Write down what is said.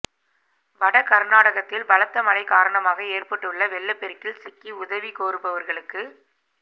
வட கா்நாடகத்தில் பலத்த மழை காரணமாக ஏற்பட்டுள்ள வெள்ளப் பெருக்கில் சிக்கி உதவி கோருபவா்களுக்கு